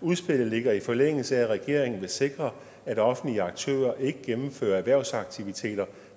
udspillet ligger i forlængelse af at regeringen vil sikre at offentlige aktører ikke gennemfører erhvervsaktiviteter